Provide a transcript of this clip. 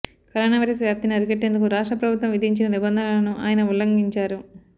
corona virus వ్యాప్తిని అరికట్టేందుకు రాష్ట్ర ప్రభుత్వం విధించిన నిబంధనలను ఆయన ఉల్లంఘించారు